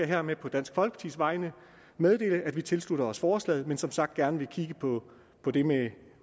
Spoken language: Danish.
hermed på dansk folkepartis vegne meddele at vi tilslutter os forslaget men som sagt gerne vil kigge på det med